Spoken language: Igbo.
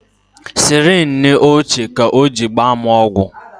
Sirinji ochie ka o ji gbaa m ọgwụ